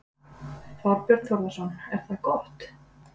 Þorbjörn Þórðarson: Er það gott?